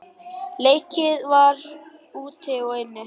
Leikið var úti og inni.